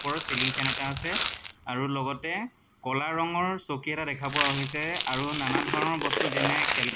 ওপৰত ceiling fan এটা আছে আৰু লগতে ক'লা ৰঙৰ চকী এটা দেখা পোৱা হৈছে আৰু নানান ধৰণৰ বস্তু যেনে কেল --